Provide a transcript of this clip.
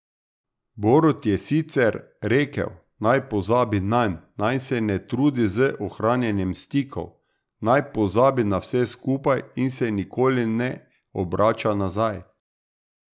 Borut je sicer rekel, naj pozabi nanj, naj se ne trudi z ohranjanjem stikov, naj pozabi na vse skupaj in se nikoli ne obrača nazaj.